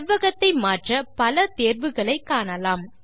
செவ்வகத்தை மாற்ற பல தேர்வுகளை காணலாம்